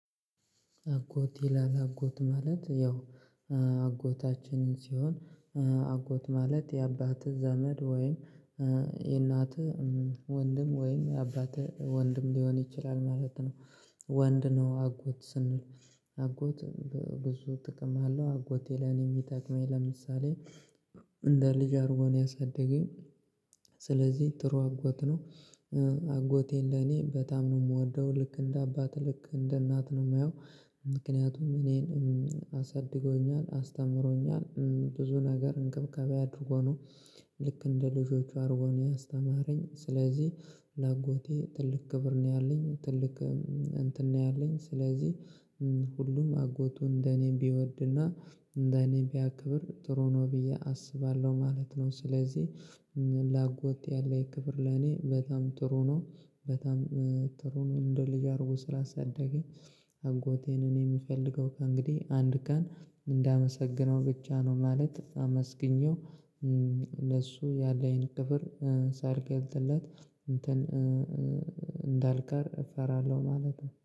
አጎት ይላል አጎት ማለት ያው አጎታችንን ሲሆን አጎት ማለት የአባትህ ዘመድ ወይም የእናትህ ወንድም ወይም የአባትህ ወንድም ሊሆን ይችላል ማለት ነው። ወንድ ነው አጎት ስንል አጎት ብዙ ጥቅም አለው አጎቴ ለኔ ሚጠቅመኝ ለምሳሌ እንደ ልጅ አድርጎ ነው ያሳደገኝ። ስለዚህ ጥሩ አጎት ነው። አጎቴ ለኔ በጣም ነው ምወደው ልክ እንደ አባቴ ልክ እንደ እናቴ ነው ማየው። ምክንያቱም እኔን አሳድጎኛል አስተምሮኛል ብዙ ነገር እንክብካቤ አድርጎ ነው ልክ እንደ ልጆቹ አርጎ ነው ያስተማረኝ። ስለዚህ ለአጎቴ ትልቅ ክብር ነው ያለኝ ትልቅ እንትን ነው ያለኝ። ስለዚህ ሁሉም አጎቱ እንደኔ ቢወድና እንደኔ ቢያክብር ጥሩ ነው ብዬ አስባለው ማለት ነው። ስለዚህ ለአጎት ያለ ክብር ለኔ በጣም ጥሩ ነው በጣም ጥሩ ነው እንደ ልጅ አድርጎ ስላሳደገኝ። አጎቴን እኔ ምፈልገው እንግዲህ አንድ ቀን እንዳመሰግነው ብቻ ነው ማለት አመስግኜው። ለሱ ያለኝ ክብር ሳልገልፅለት እንትን እንዳልቀር እፈራለው ማለት ነው።